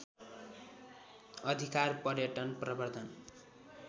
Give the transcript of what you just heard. अधिकार पर्यटन प्रवर्धन